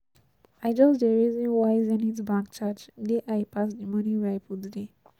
I just dey reason why Zenith Bank charge dey high pass the money wey I put there